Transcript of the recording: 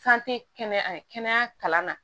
kɛnɛya kalan na